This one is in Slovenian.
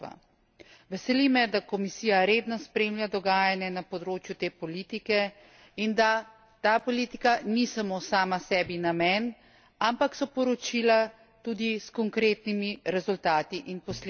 Veseli me, da Komisija redno spremlja dogajanje na podočju te politike in da ta politika ni samo sama sebi namen, ampak so poročila tudi s konkretnimi rezultati in posledicami.